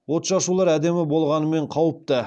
отшашулар әдемі болғанымен қауіпті